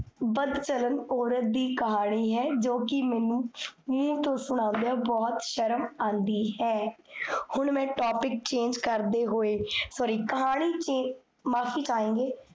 ਬਦਚਲਨ ਔਰਤ ਦੀ ਕਹਾਨੀ ਹੈ, ਜੋ ਕੀ ਮੇਨੂ ਮੁਹ ਤੋਂ ਸੁਨਾਨ੍ਦੇਆਂ ਬੋਹੋਤ ਸ਼ਰਮ ਆਂਦੀ ਹੈ ਹੁਣ ਮੈਂ topic change ਕਰਦੇ ਹੋਏ sorry ਕਹਾਣੀ change ਮਾਫੀ